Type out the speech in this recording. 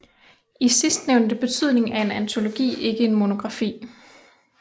I sidstnævnte betydning er en antologi ikke en monografi